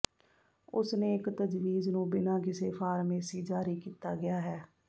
ਉਸ ਨੇ ਇੱਕ ਤਜਵੀਜ਼ ਨੂੰ ਬਿਨਾ ਕਿਸੇ ਫਾਰਮੇਸੀ ਜਾਰੀ ਕੀਤਾ ਗਿਆ ਹੈ